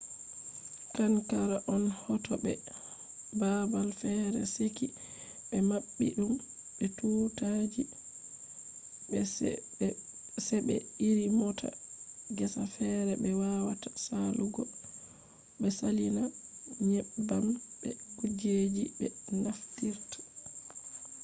qanqara on hauto be babal fere seki be mabbi dum be tuuta ji. se be iri mota gesa fere be wawata salugo be salina nyebbam be kujeji be naftirta